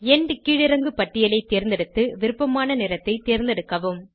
end கீழிறங்கு பட்டியலை தேர்ந்தெடுத்து விருப்பமான நிறத்தை தேர்ந்தெடுக்கவும்